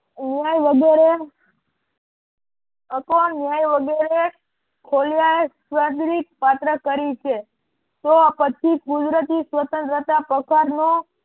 ન્યાય વગેરે અથવા ન્યાય વગેરે ખોલી આ સ્વાદરીક પાત્ર કરી છે તો પછી કુદરતી સ્વતંત્રતા પસાર નો